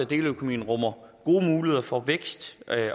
deleøkonomien rummer gode muligheder for vækst